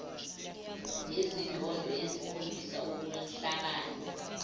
nezindondo ezikhombisa ukuhlabana